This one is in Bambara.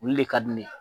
Olu le ka di ne ye